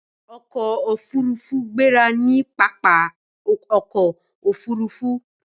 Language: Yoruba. ọkọ òfurufú gbéra ní pápá ọkọ̀ òfurufú.